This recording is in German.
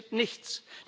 Es passiert nichts.